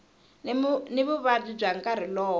ni vuvabyi bya nkarhi lowo